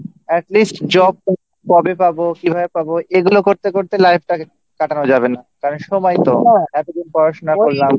at least job কবে পাব কীভাবে পাব এগুলো করতে করতে life-টাকে কাটানো যাবে না কারণ সময় নেই তো এতদিন পড়াশোনা করলাম